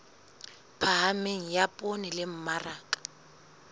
phahameng ya poone le mmaraka